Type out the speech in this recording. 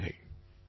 பலப்பல நன்றிகள்